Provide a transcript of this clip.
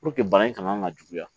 bana in kana na juguya